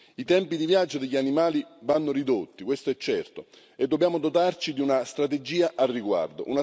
I tempi di viaggio degli animali vanno ridotti, questo è certo, e dobbiamo dotarci di una strategia al riguardo.